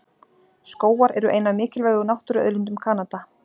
Skógar eru ein af mikilvægu náttúruauðlindum Kanada.